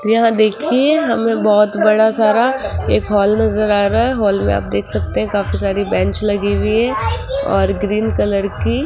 यहां देखिए हमें बहोत बड़ा सारा एक हाल नजर आ रहा है हाल में आप देख सकते हैं काफी सारी बेंच लगी हुई है और ग्रीन कलर की --